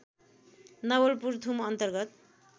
नवलपुर थुम अन्तर्गत